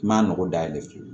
I ma nɔgɔ dayɛlɛ